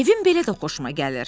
Evim belə də xoşuma gəlir.